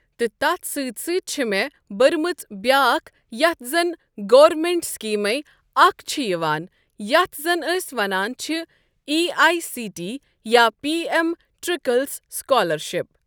تہٕ تتھ سۭتۍ سۭتۍ چھ مےٚ بٔرمٕژ بیٛاکھ یَتھ زَن گورمینٹ سِکیٖمٕے اکھ چھِ یِوان یَتھ زَن أسۍ ونان چھِ ای آیی سی ٹۍ یا پی اٮ۪م ٹرٛکلِس سکالرشِپ۔